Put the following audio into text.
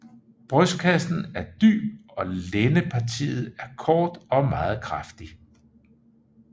Brystkassen er dyb og lændepartiet er kort og meget kraftig